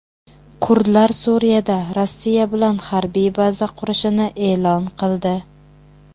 Kurdlar Suriyada Rossiya bilan harbiy baza qurishini e’lon qildi.